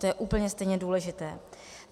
To je úplně stejně důležité.